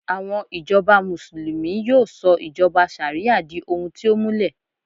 àwọn ijoba muslimu yíò sọ ijoba ṣariya di ohun ti o múlẹ